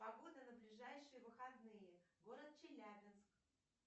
погода на ближайшие выходные город челябинск